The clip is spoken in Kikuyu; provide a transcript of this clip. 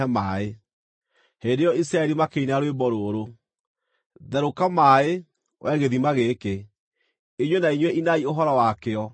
Hĩndĩ ĩyo Isiraeli makĩina rwĩmbo rũrũ: “Therũka maaĩ, wee gĩthima gĩkĩ! Inyuĩ na inyuĩ inai ũhoro wakĩo,